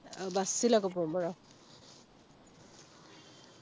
ഏർ bus ൽ ഒക്കെ പോകുമ്പോഴോ